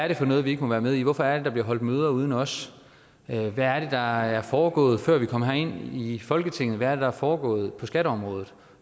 er for noget vi ikke må være med i hvorfor er det der bliver holdt møder uden os hvad er der er foregået før vi kom herind i folketinget hvad er det der er foregået på skatteområdet